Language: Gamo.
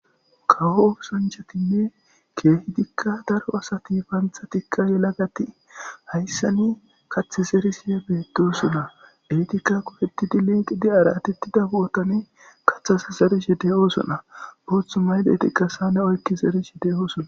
kawo osanchatinne keehi dikka daro asati paanthatikka yelagati hayssani kath zerisee beettosuna etikka kupetidi liiqidi aratettida bootane kathas zerish de7osona boothu maydeetiqasane oykki zerishe de7osona